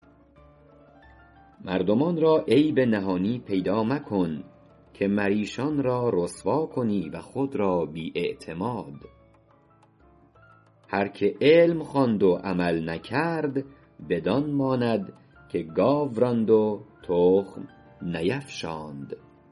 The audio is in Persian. مردمان را عیب نهانی پیدا مکن که مر ایشان را رسوا کنی و خود را بی اعتماد هر که علم خواند و عمل نکرد بدان ماند که گاو راند و تخم نیفشاند